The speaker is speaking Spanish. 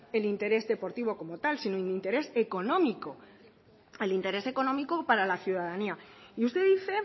el interés deportivo como tal sino en interés económico el interés económico para la ciudadanía y usted dice